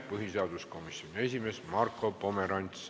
Põhiseaduskomisjoni esimees Marko Pomerants on ettekandja.